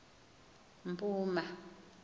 mpuma